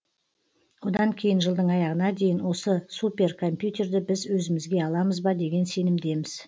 одан кейін жылдың аяғына дейін осы суперкомпьютерді біз өзімізге аламыз ба деген сенімдеміз